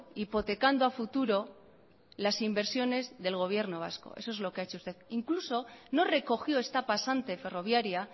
hipotecando a futuro las inversiones del gobierno vasco eso es lo que ha hecho usted incluso no recogió esta pasante ferroviaria